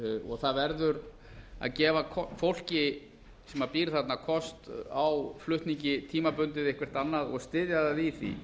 og það verður að gefa fólki sem býr þarna kost á flutningi tímabundið eitthvert annað og styðja það í því